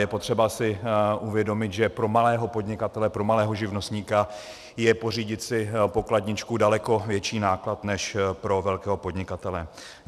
Je potřeba si uvědomit, že pro malého podnikatele, pro malého živnostníka je pořídit si pokladničku daleko větší náklad než pro velkého podnikatele.